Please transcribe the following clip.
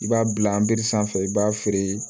I b'a bila an bere sanfɛ i b'a feere